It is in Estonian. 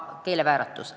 Keelevääratus!